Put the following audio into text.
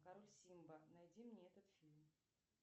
король симба найди мне этот фильм